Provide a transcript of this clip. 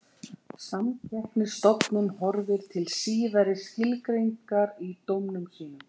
Samkeppnisstofnun horfir til síðari skilgreiningarinnar í dómum sínum.